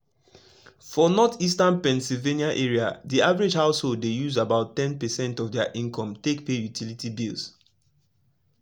for northeastern pennsylvania area the average household dey use about ten percent of their income take pay utility bills.